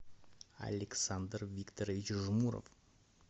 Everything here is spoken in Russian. александр викторович жмуров